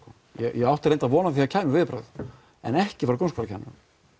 ég átti reyndar von á því að það kæmu viðbrögð en ekki frá grunnskólakennurum